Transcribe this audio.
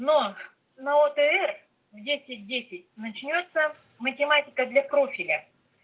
но на лотерее в десять десять начнётся математика для профиля